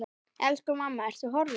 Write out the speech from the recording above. Elsku mamma, Ertu horfin?